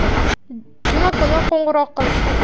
Juma kuni qo‘ng‘iroq qilishdi.